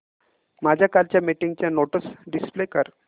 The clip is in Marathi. माझ्या कालच्या मीटिंगच्या नोट्स डिस्प्ले कर